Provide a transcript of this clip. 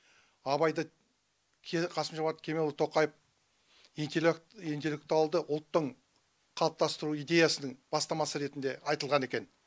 абайды қасым жомарт кемелұлы тоқаев интеллектуалды ұлттың қалыптастыру идеясының бастамасы ретінде айтылған екен